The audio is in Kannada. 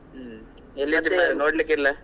ಹ್ಮ್ ನೋಡ್ಲಿಕ್ಕೆ ಇಲ್ಲ?